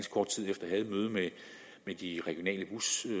møde med de regionale